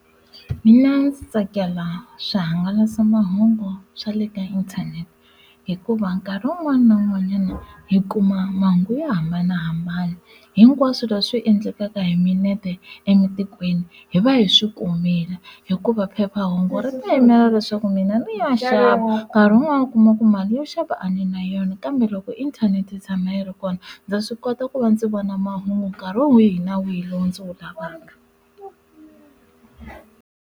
Mina ndzi tsakela swihangalasamahungu swa le ka inthanete hikuva nkarhi wun'wana na wun'wanyana hi kuma mahungu yo hambanahambana hinkwaswo leswi endlekaka hi minete ematikweni hi va hi swi kumile hi hikuva phephahungu ri ti yimela leswaku mina ni ya xava nkarhi wun'wani u kuma ku mali yo xava a ni na yona kambe loko inthanete yi tshama yi ri kona ndza swi kota ku va ndzi vona mahungu nkarhi wihi na wihi lowu ndzi wu lavaka.